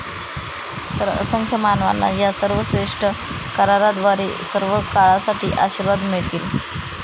तर, असंख्य मानवांना या सर्वश्रेष्ठ कराराद्वारे सर्वकाळसाठी आशीर्वाद मिळतील.